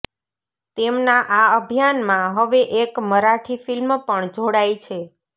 તેમના આ અભિયાનમાં હવે એક મરાઠી ફિલ્મ પણ જોડાઈ છે